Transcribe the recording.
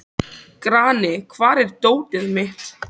Grani, hvar er dótið mitt?